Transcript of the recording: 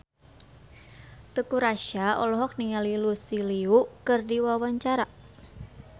Teuku Rassya olohok ningali Lucy Liu keur diwawancara